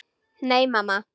Nei, mamma.